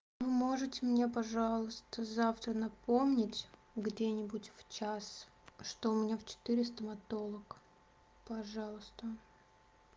вы можете мне пожалуйста завтра напомнить где-нибудь в час что у меня в четыре стоматолог пожалуйста